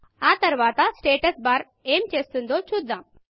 ఆ తరువాత స్టాటస్ barస్టేటస్ బార్ ఏమి చేస్తుందో చూద్దాం